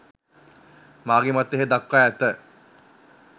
මාගේ මතය එහි දක්වා ඇත